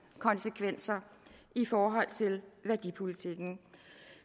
konsekvenser i forhold til værdipolitikken